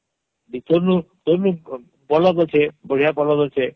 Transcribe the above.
ବିପିନୁଁ ତଈଂନୁ ବଳଦ ଅଛେ ବଢିଆ ବଳଦ ଅଛେ